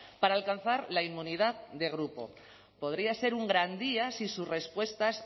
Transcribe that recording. para alcanzar la inmunidad de grupo podría ser un gran día si sus respuestas